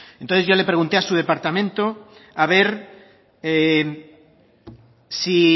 entonces yo le pregunté a su departamento a ver si